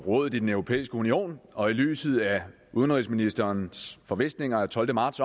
rådet i den europæiske union og i lyset af udenrigsministerens forvisninger af tolvte marts